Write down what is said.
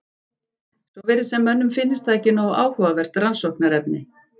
Svo virðist sem mönnum finnist það ekki nógu áhugavert rannsóknarefni.